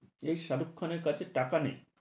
এই শাহরুখ খানের কাছে টাকা নেই।